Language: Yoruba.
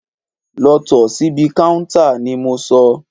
Lọ tò síbi káúntá ni mo sọ!